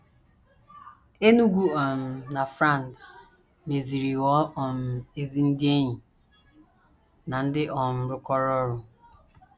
Enugu um na Franz mesịrị ghọọ um ezi ndị enyi na ndị um rụkọrọ ọrụ.